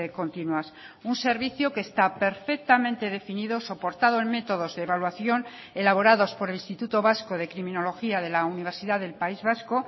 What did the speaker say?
continuas un servicio que está perfectamente definido soportado en métodos de evaluación elaborados por el instituto vasco de criminología de la universidad del país vasco